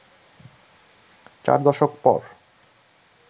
চার দশক পর